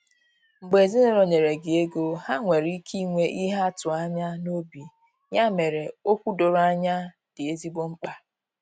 Mgbe ezinụlọ nyere gị ego, ha nwere ike inwe ihe ha atụ anya n’obi, ya mere, okwu doro anya dị ezigbo mkpa.